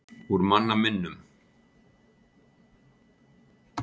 Úr manna minnum.